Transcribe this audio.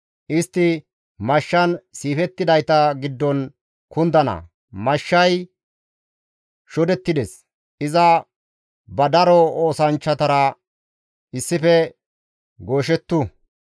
Istti mashshan siifettidayta giddon kundana; mashshay shodettides; iza ba daro oosanchchatara issife gooshettu.